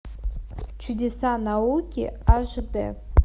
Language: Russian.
чудеса науки аш д